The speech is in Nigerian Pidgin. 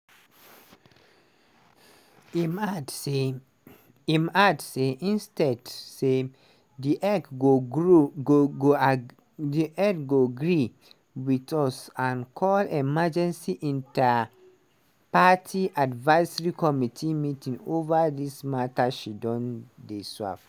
im add say im ad say"instead say di ec go grow go gree wit us and call emergency inter-party advisory committee meeting ova dis mata she don dey swerve."